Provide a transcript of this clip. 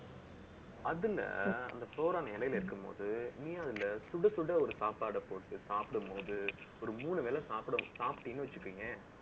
அதுல, அந்த இலையில இருக்கும்போது, நீ அதுல சுட, சுட ஒரு சாப்பாடை போட்டு சாப்பிடும்போது, ஒரு மூணு வேளை சாப்பிடீங்கன்னு வச்சுக்கோங்களேன்